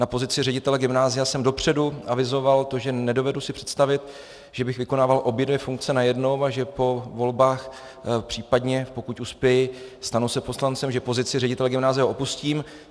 Na pozici ředitele gymnázia jsem dopředu avizoval to, že nedovedu si představit, že bych vykonával obě dvě funkce najednou a že po volbách, případně pokud uspěji, stanu se poslancem, že pozici ředitele gymnázia opustím.